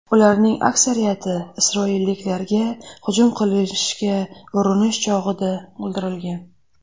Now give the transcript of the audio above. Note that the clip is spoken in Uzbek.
Ularning aksariyati isroilliklarga hujum qilishga urinish chog‘ida o‘ldirilgan.